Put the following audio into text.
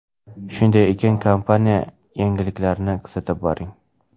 Shunday ekan, kompaniya yangiliklarini kuzatib boring!